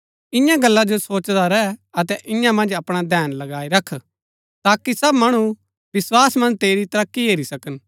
इन्या गल्ला जो सोचदा रैह अतै इआं मन्ज अपणा धैन लगाई रख ताकि सब मणु विस्वास मन्ज तेरी तरक्की हेरी सकन